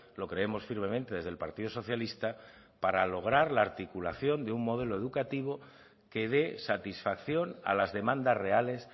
lo creemos firmemente desde el partido socialista para lograr la articulación de un modelo educativo que dé satisfacción a las demandas reales